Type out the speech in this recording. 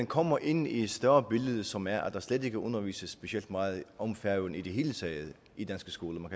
kommer ind i et større billede som er at der slet ikke undervises specielt meget om færøerne i det hele taget i danske skoler